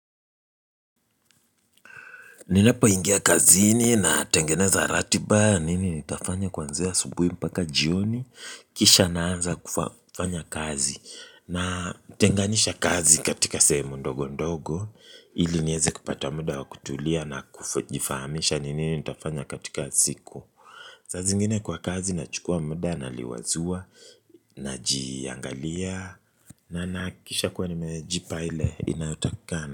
Ninapoingia kazini na tengeneza ratiba nini nitafanya kwanzia asubuhi mpaka jioni kisha naanza kufanya kazi na tenganisha kazi katika sehemu ndogo ndogo ili nieze kupata muda wa kutulia na kuvifahamisha ni nini nitafanya katika siku saa zingine kwa kazi na chukua muda na liwazua naji angalia na nahakikisha kuwa nimejipa ile ina takikana.